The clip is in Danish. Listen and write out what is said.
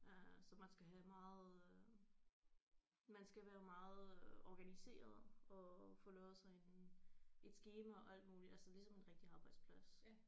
Øh så man skal have meget øh man skal være meget øh organiseret og få lavet sig en et skema og alt muligt altså ligesom en rigtig arbejdsplads